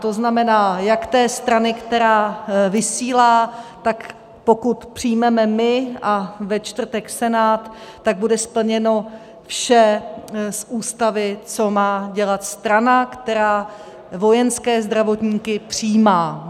To znamená, jak té strany, která vysílá, tak pokud přijmeme my a ve čtvrtek Senát, tak bude splněno vše z Ústavy, co má dělat strana, která vojenské zdravotníky přijímá.